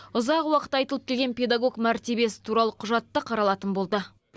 ұзақ уақыт айтылып келген педагог мәртебесі туралы құжат та қаралатын болды